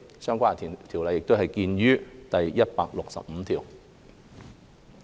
相關修訂見於第165條。